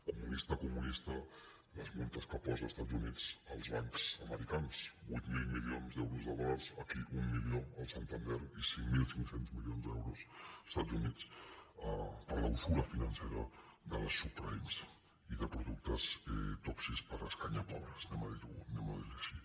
comunista comunista les multes que posa els estats units als bancs americans vuit mil milions d’euros de dòlars aquí un milió al santander i cinc mil cinc cents milions d’euros als estats units per la usura financera de les subprimes i de productes tòxics per a escanyapobres diguem ho així